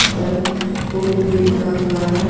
और फूल भी ऊगा हुआ हे.